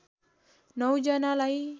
९ जनालाई